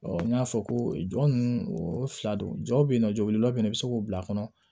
n y'a fɔ ko jɔn ninnu o fila don jɔw be yen nɔ jɔw be labɔ i be se k'o bila a kɔnɔ